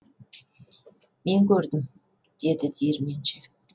мен көрдім деді диірменші